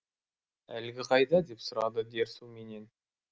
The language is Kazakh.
әлгі қайда деп сұрады дерсу менен